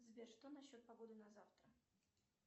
сбер что насчет погоды на завтра